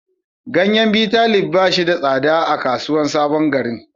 Ganyen Bitalib ba shi da tsada a kasuwar sabon garin.